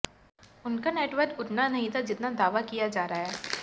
उनका नेटवर्थ उतना नहीं था जितना दावा किया जा रहा है